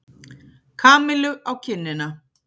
Kamillu á kinnina.